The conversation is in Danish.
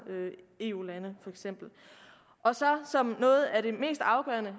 eu lande som noget af det mest afgørende